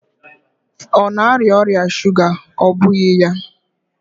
Ọ na-arịa ọrịa shuga, ọ́ bụghị ya?